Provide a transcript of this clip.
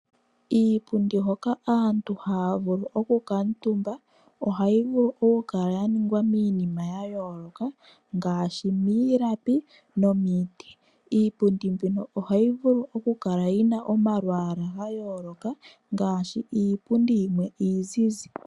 Iipundi hoka aantu haya vulu oku kuuntumba ohayi vulu okukala yaningwa miinima yayooloka ngaashi miilapi nomiiti. Iipundi mbino ohayi vulu okukala yina omalwaala gayooloka ngaashi iipundi yimwe iizize.